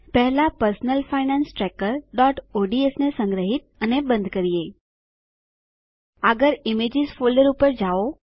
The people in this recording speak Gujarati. પહેલા personal finance trackerઓડ્સ ને સંગ્રહીત અને બંધ કરીએ આગળ ઈમેજીસ ફોલ્ડર પર જાવ